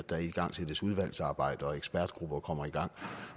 der igangsættes udvalgsarbejder ekspertgrupper kommer i gang